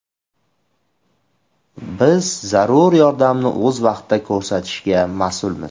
Biz zarur yordamni o‘z vaqtida ko‘rsatishga mas’ulmiz.